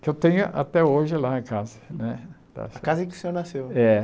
que eu tenho até hoje lá na casa né. A casa em que o senhor nasceu É